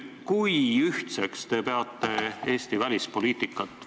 Kui ühtseks te peate Eesti välispoliitikat?